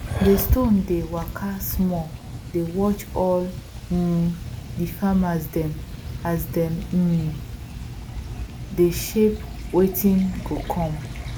de stone dey waka small dey watch all um di farmer dem as dem um dey shape wetin go come